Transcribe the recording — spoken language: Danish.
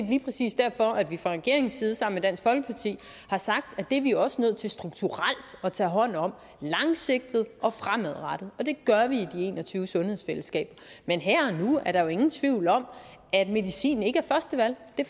lige præcis derfor at vi fra regeringens side sammen med dansk folkeparti har sagt at det er vi også nødt til strukturelt at tage hånd om langsigtet og fremadrettet og det gør vi i de en og tyve sundhedsfællesskaber men her og nu er der jo ingen tvivl om at medicin ikke er første valg det